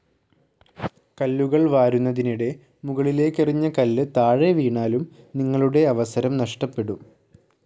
കല്ലുകൾ വാരുന്നതിനിടെ മുകളിലേക്കെറിഞ്ഞ കല്ല് താഴെ വീണാലും നിങ്ങളുടെ അവസരം നഷ്ടപ്പെടും.